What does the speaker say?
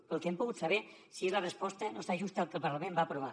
pel que hem pogut saber si és la resposta no s’ajusta al que el parlament va aprovar